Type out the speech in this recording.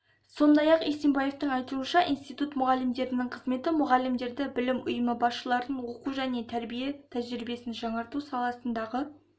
сондай-ақ исимбаевтың айтуынша институт мұғалімдерінің қызметі мұғалімдерді білім ұйымы басшыларын оқу және тәрбие тәжірибесін жаңарту саласындағы